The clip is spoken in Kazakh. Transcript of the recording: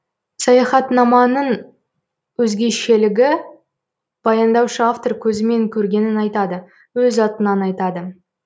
саяхатнаманың өзгешелігі баяндаушы автор көзімен көргенін айтады өз атынан айтады